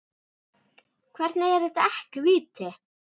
Hvernig er þetta ekki víti?